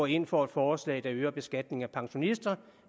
ind for et forslag der øger beskatningen af pensionister